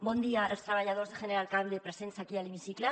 bon dia als treballadors de general cable presents aquí a l’hemicicle